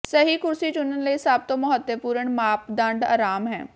ਸਹੀ ਕੁਰਸੀ ਚੁਣਨ ਲਈ ਸਭ ਤੋਂ ਮਹੱਤਵਪੂਰਨ ਮਾਪਦੰਡ ਆਰਾਮ ਹੈ